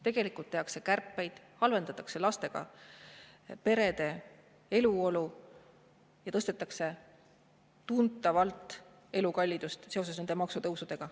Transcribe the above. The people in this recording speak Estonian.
Tegelikult tehakse kärpeid, halvendatakse lastega perede eluolu ja maksutõusudega tõstetakse tuntavalt elukallidust.